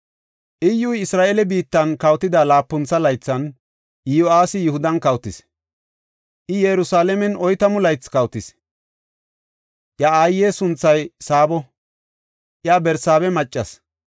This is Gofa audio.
Iyyuy, Isra7eele biittan kawotida laapuntho laythan, Iyo7aasi Yihudan kawotis; I Yerusalaamen oytamu laythi kawotis. Iya aaye sunthay Saabo; iya Barsaabe maccas.